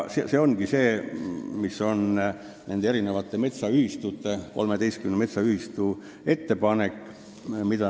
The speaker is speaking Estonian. " See ongi nende metsaühistute, 13 metsaühistu ettepanek.